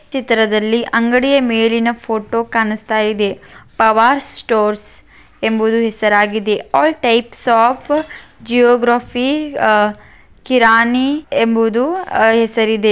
ಚಿತ್ರದಲ್ಲಿ ಅಂಗಡಿಯ ಮೇಲಿನ ಫೋಟೋ ಕಾಣುಸ್ತಾಇದೆ ಪವಾರ್ ಸ್ಟೋರ್ಸ್ ಎಂಬುದು ಹೆಸರಾಗಿದೆ all types of geography ah ಕಿರಾಣಿ ಎಂ--